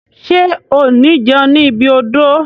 Ṣe o ni jẹun ni ibi odò?